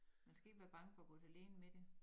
Man skal ikke være bange for at gå til lægen med det